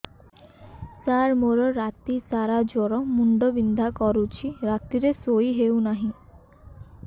ସାର ମୋର ରାତି ସାରା ଜ୍ଵର ମୁଣ୍ଡ ବିନ୍ଧା କରୁଛି ରାତିରେ ଶୋଇ ହେଉ ନାହିଁ